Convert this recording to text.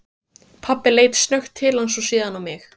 Pabbi leit snöggt til hans og síðan á mig.